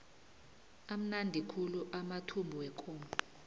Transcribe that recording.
amnandi khulu amathumbu wekomo